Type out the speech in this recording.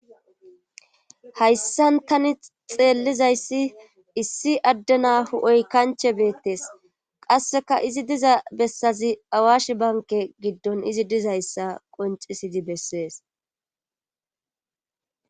Hayssankani xeellizayssi issi addena hu7oy kanche beettes qasseka izi diza bessazi awash banke giddon izi dizayssa qoncisidi bessees